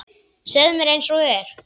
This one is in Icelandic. Segðu mér einsog er.